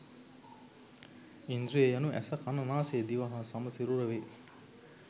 ඉන්ද්‍රිය යනු ඇස කන නාසය දිව හා සම සිරුර වේ